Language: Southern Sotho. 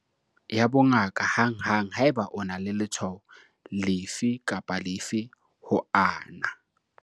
Batla thuso ya bongaka hanghang haeba o na le letshwao lefe kapa lefe ho ana.